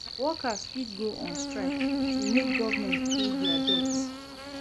Workers fit go on strike to make government pay their debts